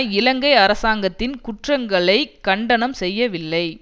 இலங்கை அரசாங்கத்தின் குற்றங்களை கண்டனம் செய்யவில்லை